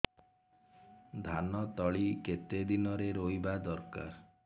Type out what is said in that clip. ଧାନ ତଳି କେତେ ଦିନରେ ରୋଈବା ଦରକାର